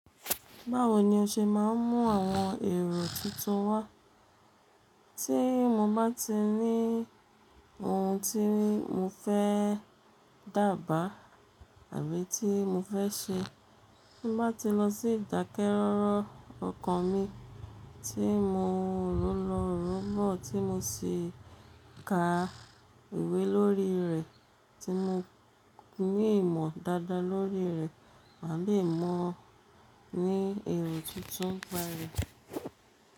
Báwo ni o ṣe máa ń mú àwọn èrò tuntun wá? Tí mo bá ti ní ohun tí mo fẹ́ dàbàá àbí tí mo fẹ́ ṣe, bi n bá ti lọ sí ìdákẹ́rọ́rọ́ ọkàn mi tí mo rọ̀lọ rọ̀bọ̀ tí mo sì ka ìwé lórí rẹ̀ tí mo ní ìmọ̀ dáadáa lórí rẹ̀, màá le mó ni èrò tuntun bayìí.